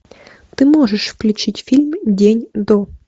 ты можешь включить фильм день до